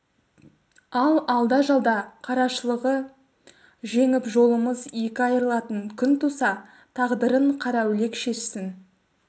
ал алда-жалда қарашылығы жеңіп жолымыз екі айырылатын күн туса тағдырын қараүлек шешсін